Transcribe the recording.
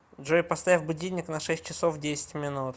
джой поставь будильник на шесть часов десять минут